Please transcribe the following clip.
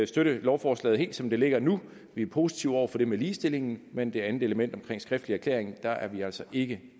støtte lovforslaget helt som det ligger nu vi er positive over for det med ligestillingen men det andet element med en skriftlig erklæring er er vi altså ikke